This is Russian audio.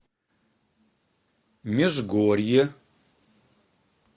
межгорье